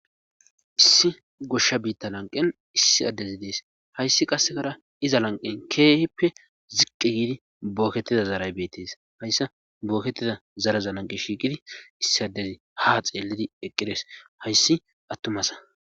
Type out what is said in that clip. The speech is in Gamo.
issi goshsha biitta lanqen issi addezi dees hayssi qassekara iza lanqen keehippe ziqqi giidi bookettida zaaray beettes hayssa bookettida zaraza lanqe shiiqidi issi addezi ha xeellidi eqqirees hayssi attumasa